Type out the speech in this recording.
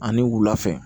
Ani wula fɛ